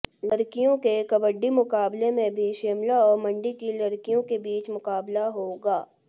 लड़कियों के कबड्डी मुकाबले में भी शिमला और मंडी की लड़कियों के बीच मुकाबला होगा